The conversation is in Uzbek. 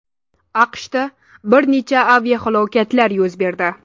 AQShda bir necha aviahalokatlar yuz berdi.